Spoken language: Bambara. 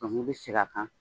i bɛ segin a kan.